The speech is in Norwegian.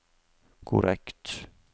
korrekt